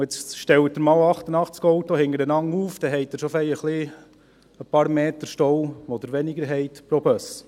Und jetzt stellen Sie einmal 88 Autos hintereinander auf, dann haben Sie pro Bus schon einige Meter weniger Stau.